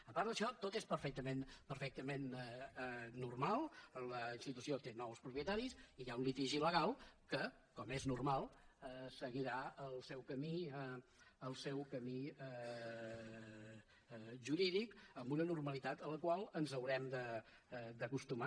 a part d’això tot és perfectament normal la institució té nous propietaris i hi ha un litigi legal que com és normal seguirà el seu camí jurídic amb una normalitat a la qual ens haurem d’acostumar